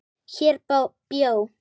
Hér bjó